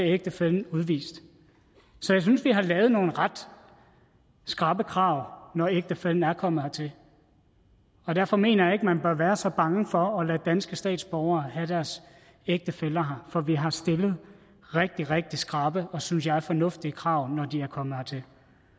ægtefællen udvist så jeg synes vi har lavet nogle ret skrappe krav når ægtefællen er kommet hertil og derfor mener jeg ikke at man bør være så bange for at lade danske statsborgere have deres ægtefæller her for vi har stillet rigtig rigtig skrappe og synes jeg fornuftige krav når de er kommet hertil